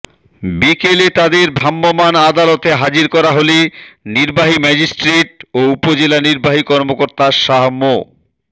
বিকেলে তাদের ভ্রাম্যমাণ আদালতে হাজির করা হলে নির্বাহী ম্যাজিস্ট্রেট ও উপজেলা নির্বাহী কর্মকর্তা শাহ মো